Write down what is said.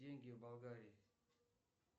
деньги в болгарии